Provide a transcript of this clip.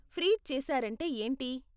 Freeze చేసారంటే ఏంటి?